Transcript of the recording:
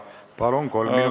Palun, kolm minutit lisaaega!